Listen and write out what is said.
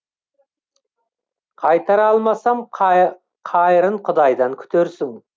қайтара алмасам қайырын құдайдан күтерсің